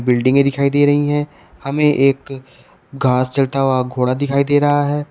बिल्डिंगे दिखाई दे रही है हमें एक घास चरता हुआ घोड़ा दिखाई दे रहा है।